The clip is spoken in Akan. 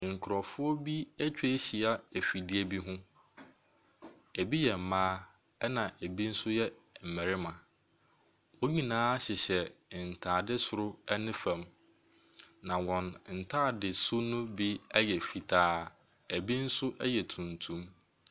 Nkorɔfoɔ bi ɛtwa hyia ɛfidie bi ho. Ebi yɛ mmaa ɛna ebi nso yɛ mmarima. Wɔn nyinaa hyehyɛ ntaade soro ɛne fam. Na wɔn ntaade su no bi yɛ fitaa. Ebi nso yɛ tuntum.